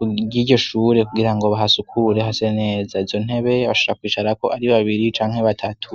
uryiryoshure kugira ngo bahasukure hase neza izo ntebe basha kwicarako ari babiri canke batatu.